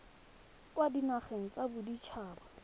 kwa dinageng tsa bodit haba